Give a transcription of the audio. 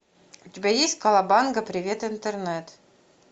у тебя есть калабанга привет интернет